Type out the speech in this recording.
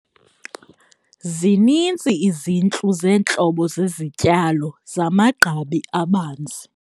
Zininzi izintlu zeentlobo zezityalo zamagqabi abanzi.